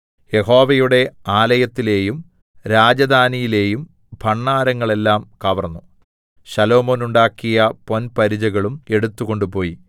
യഹോവയുടെ ആലയത്തിലെയും രാജധാനിയിലെയും ഭണ്ഡാരങ്ങൾ എല്ലാം കവർന്നു ശലോമോൻ ഉണ്ടാക്കിയ പൊൻപരിചകളും എടുത്തുകൊണ്ടുപോയി